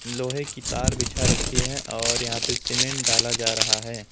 लोहे की तार बिछा रखी हैं और यहां पे सीमेंट डाला जा रहा है।